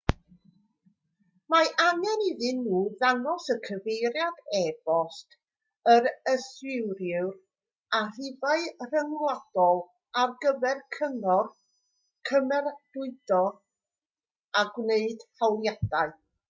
mae angen iddyn nhw ddangos cyfeiriad e-bost yr yswiriwr a rhifau ffôn rhyngwladol ar gyfer cyngor/cymeradwyo a gwneud hawliadau